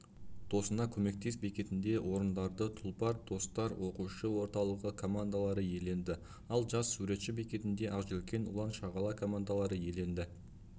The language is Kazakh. досыңа көмектес бекетінде орындарды тұлпар достар оқушы орталығы командалары иеленді ал жас суретші бекетінде ақжелкен ұлан шағала командалары иеленді